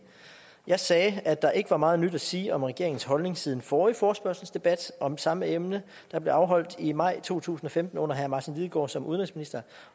jeg sagde at der ikke var meget nyt at sige om regeringens holdning siden forrige forespørgselsdebat om samme emne der blev afholdt i maj to tusind og femten under herre martin lidegaard som udenrigsminister